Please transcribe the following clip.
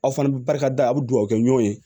Aw fana bɛ barika da aw bɛ duwawu kɛ ɲɔgɔn ye